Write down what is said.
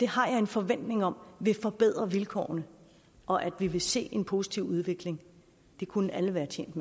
har en forventning om at vil forbedre vilkårene og at vi vil se en positiv udvikling det kunne alle være tjent